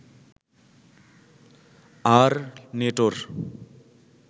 আর নেটোর